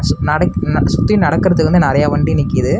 நடக் சுத்தி நடக்குற இடத்துல வந்து நெறய வண்டி நிக்குது.